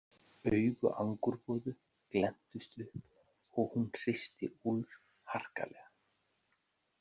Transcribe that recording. Augu Angurboðu glenntust upp og hún hristi Úlf harkalega.